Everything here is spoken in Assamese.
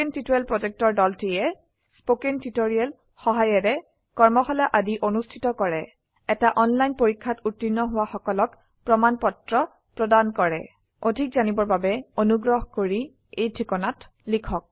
কথন শিক্ষণ প্ৰকল্পৰ দলটিয়ে কথন শিক্ষণ সহায়িকাৰে কৰ্মশালা আদি অনুষ্ঠিত কৰে এটা অনলাইন পৰীক্ষাত উত্তীৰ্ণ হোৱা সকলক প্ৰমাণ পত্ৰ প্ৰদান কৰে অধিক জানিবৰ বাবে অনুগ্ৰহ কৰি contactspoken tutorialorg এই ঠিকনাত লিখক